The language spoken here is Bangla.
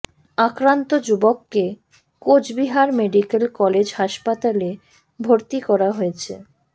আক্রান্ত যুবককে কোচবিহার মেডিক্যাল কলেজ হাসপাতালে ভর্তি করা হয়েছে